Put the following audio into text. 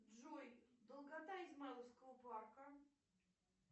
джой долгота измайловского парка